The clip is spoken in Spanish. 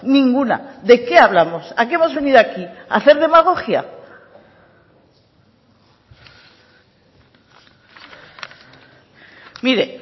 ninguna de qué hablamos a qué hemos venido aquí a hacer demagogia mire